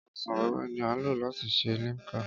Ọsàn wẹ́wẹ́ ni a lò láti ṣe Limca